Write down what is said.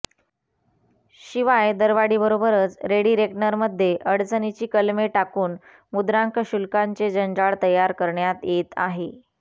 शिवाय दरवाढीबरोबरच रेडी रेकनरमध्ये अडचणीची कलमे टाकून मुद्रांक शुल्काचे जंजाळ तयार करण्यात येत आहे